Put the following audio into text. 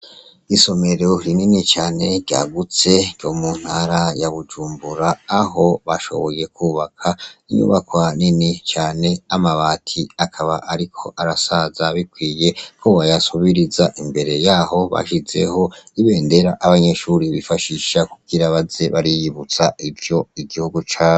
Isomero rinini cane ryagutse ryo mu ntara ya Bujumbura aho bashoboye kubaka inyubako hanini cane amabati akaba ariko arasaza bikwiye ko boyasubiriza imbere yaho bashizeho ibendera abanyeshuri bifashisha kugira baze bariyibutsa ivyo igihugu cabo.